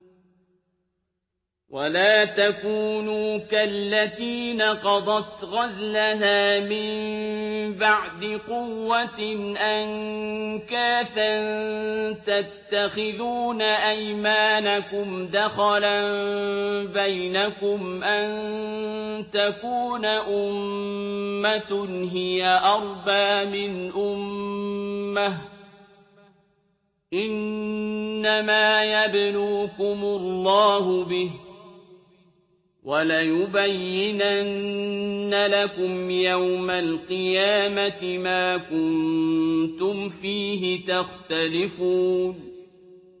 وَلَا تَكُونُوا كَالَّتِي نَقَضَتْ غَزْلَهَا مِن بَعْدِ قُوَّةٍ أَنكَاثًا تَتَّخِذُونَ أَيْمَانَكُمْ دَخَلًا بَيْنَكُمْ أَن تَكُونَ أُمَّةٌ هِيَ أَرْبَىٰ مِنْ أُمَّةٍ ۚ إِنَّمَا يَبْلُوكُمُ اللَّهُ بِهِ ۚ وَلَيُبَيِّنَنَّ لَكُمْ يَوْمَ الْقِيَامَةِ مَا كُنتُمْ فِيهِ تَخْتَلِفُونَ